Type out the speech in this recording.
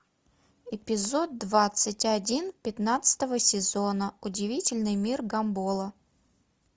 эпизод двадцать один пятнадцатого сезона удивительный мир гамбола